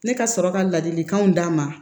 Ne ka sɔrɔ ka ladilikanw d'a ma